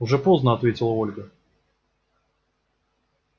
уже поздно ответила ольга